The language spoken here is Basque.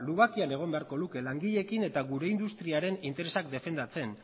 egon beharko luke langileekin eta gure industriaren interesak defendatzen